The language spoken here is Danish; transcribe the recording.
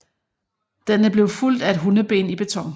Denne blev fulgt af et hundeben i beton